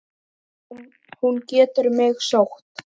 Hún getur mig sótt.